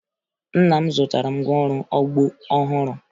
Nna m zụtara ngwaọrụ ugbo ọhụrụ